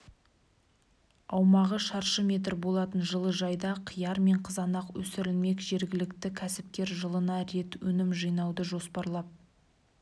аумағы шыршы метр болатын жылыжайда қияр мен қызанақ өсірілмек жергілікті кәсіпкер жылына рет өнім жинауды жоспарлап